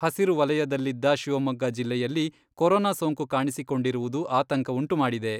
ಹಸಿರು ವಲಯದಲ್ಲಿದ್ದ ಶಿವಮೊಗ್ಗ ಜಿಲ್ಲೆಯಲ್ಲಿ ಕೊರೊನಾ ಸೋಂಕು ಕಾಣಿಸಿಕೊಂಡಿರುವುದು ಆತಂಕವುಂಟುಮಾಡಿದೆ.